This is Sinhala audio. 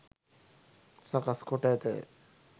සකස් කොට ඇත.